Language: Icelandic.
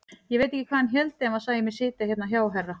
Ég veit ekki hvað hann héldi ef hann sæi mig sitja hérna hjá herra!